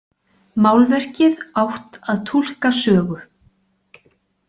Málverkið átt að túlka sögu.